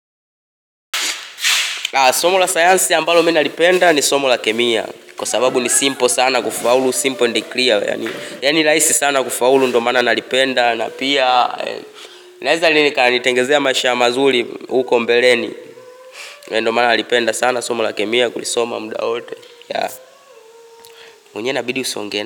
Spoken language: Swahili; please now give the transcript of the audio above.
Somo la sayansi ambalo mimi nalipenda ni somo la kemia. Kwa sababu ni simple sana kufaulu. Simple and clear. Yani ni rahisi sana kufaulu ndo maana nalipenda. Na pia, naweza nikalitengezea maisha mazuri huko mbeleni. Na ndiyo maana nalipenda sana somo la kemia kulisoma muda wote. Unye na bidu usongene.